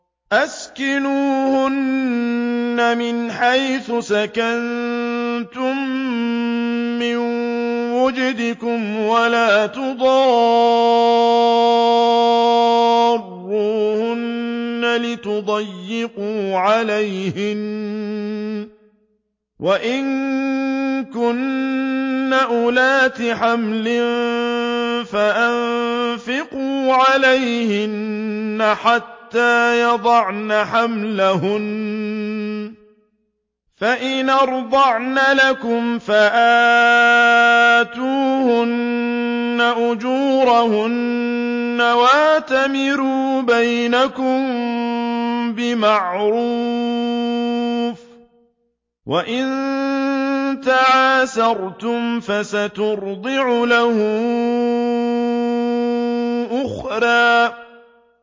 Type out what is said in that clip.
أَسْكِنُوهُنَّ مِنْ حَيْثُ سَكَنتُم مِّن وُجْدِكُمْ وَلَا تُضَارُّوهُنَّ لِتُضَيِّقُوا عَلَيْهِنَّ ۚ وَإِن كُنَّ أُولَاتِ حَمْلٍ فَأَنفِقُوا عَلَيْهِنَّ حَتَّىٰ يَضَعْنَ حَمْلَهُنَّ ۚ فَإِنْ أَرْضَعْنَ لَكُمْ فَآتُوهُنَّ أُجُورَهُنَّ ۖ وَأْتَمِرُوا بَيْنَكُم بِمَعْرُوفٍ ۖ وَإِن تَعَاسَرْتُمْ فَسَتُرْضِعُ لَهُ أُخْرَىٰ